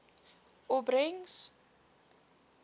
opbrengs